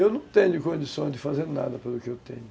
Eu não tenho condições de fazer nada pelo que eu tenho.